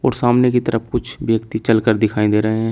और सामने की तरफ कुछ व्यक्ति चलकर दिखाई दे रहे हैं।